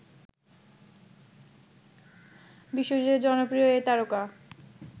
বিশ্বজুড়ে জনপ্রিয় এই তারকা